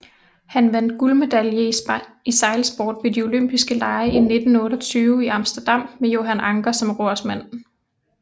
Han vandt guldmedalje i sejlsport ved de Olympiske Lege i 1928 i Amsterdam med Johan Anker som rorsmand